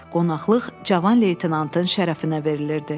Qonaqlıq Cavan leytenantın şərəfinə verilirdi.